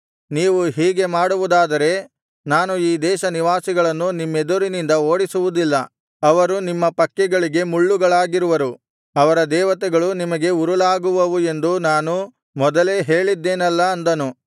ನೀವು ಹೀಗೆ ಮಾಡುವುದಾದರೆ ನಾನು ಈ ದೇಶ ನಿವಾಸಿಗಳನ್ನು ನಿಮ್ಮೆದುರಿನಿಂದ ಓಡಿಸುವುದಿಲ್ಲ ಅವರು ನಿಮ್ಮ ಪಕ್ಕೆಗಳಿಗೆ ಮುಳ್ಳುಗಳಾಗಿರುವರು ಅವರ ದೇವತೆಗಳು ನಿಮಗೆ ಉರುಲಾಗುವವು ಎಂದು ನಾನು ಮೊದಲೇ ಹೇಳಿದ್ದೆನಲ್ಲಾ ಅಂದನು